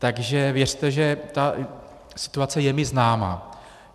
Takže věřte, že ta situace je mi známa.